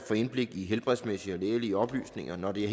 få indblik i helbredsmæssige og lægelige oplysninger når det